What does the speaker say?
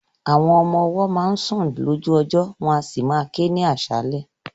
Àwọn ọmọ ọwọ́ máa ń sun lójú ọjọ́ wọn a sì máa ké ní aṣálẹ̀.